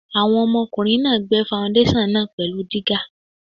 Àwọn ọmọkùnrin náà gbẹ́ faundéṣàn náà pẹ̀lú dígà.